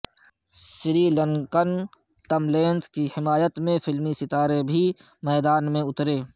سری لنکن تملینس کی حمایت میں فلمی ستارے بھی میدان میں اترے